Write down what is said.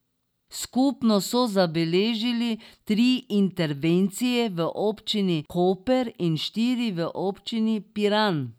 Skupno so zabeležili tri intervencije v občini Koper in štiri v občini Piran.